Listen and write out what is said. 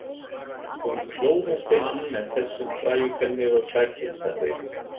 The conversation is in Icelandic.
Hún klófesti hann með þessum frægu kvenlegu klækjum, sagði